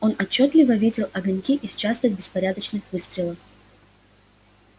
он отчётливо видел огоньки их частых беспорядочных выстрелов